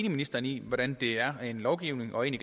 ministeren i hvordan det er rent lovgivningsmæssigt